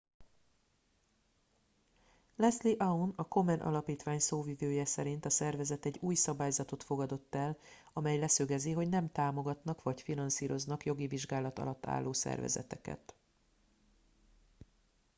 leslie aun a komen alapítvány szóvivője szerint a szervezet egy új szabályzatot fogadott el amely leszögezi hogy nem támogatnak vagy finanszíroznak jogi vizsgálat alatt álló szervezeteket